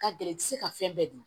Ka gɛlɛ i tɛ se ka fɛn bɛɛ dun